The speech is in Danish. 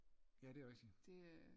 Ja det er rigtigt